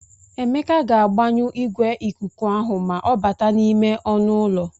Emeka ga-agbanyụ igwe ikuku ahụ ma ọ bata n'ime ọnụ ụlọ.